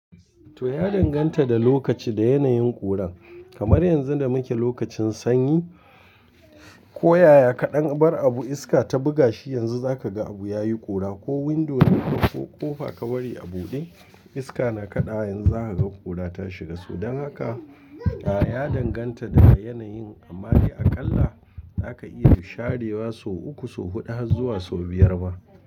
To ya danganta da lokaci da yanayin ƙura. Kamar yanzu da muke lokacin sanyi, ko yaya kaɗan abar abu iska ta buga shi yanzu za ka ga abu yayi ƙura. Ko window ne ko ƙofa ka bari a buɗe iska na kaɗawa yanzu za ka gan ƙura ta shiga. Don haka a ya danganta da yanayin amma akalla za ka iya share wasu uku, wasu huɗu har zuwa sau biyar ma.